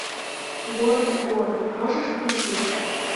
город и город можешь включить